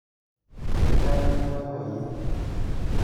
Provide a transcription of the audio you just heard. Kakitaach ak boiboiyet